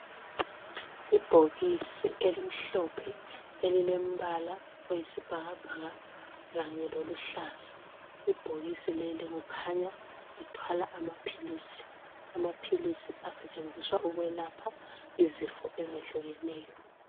Ibhokisi elimhlophe elilembala oyisibhakabhaka kanye loluhlaza. Ibhokisi leli kukhanya lithwala amaphilisi. Amaphilisi asetshenziswa ukwelapha izifo ezehlukenayo.